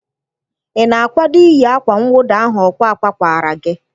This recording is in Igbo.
Ị na-akwado iyi akwa nwụda ahụ ọkwa akwa kwara gị?